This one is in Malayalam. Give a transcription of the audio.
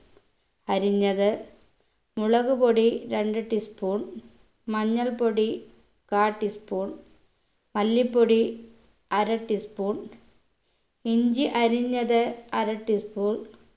അരിഞ്ഞത് മുളകുപൊടി രണ്ട് tea spoon മഞ്ഞൾപ്പൊടി കാ tea spoon മല്ലിപ്പൊടി അര tea spoon ഇഞ്ചി അരിഞ്ഞത് അര tea spoon